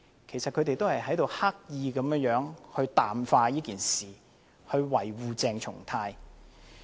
其實他們是刻意淡化事件，維護鄭松泰議員。